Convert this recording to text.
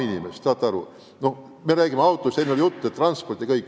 Enne oli juttu, et ka sellepärast vajavad kõik transporti.